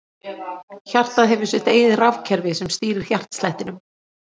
Hjartað hefur sitt eigið rafkerfi sem stýrir hjartslættinum.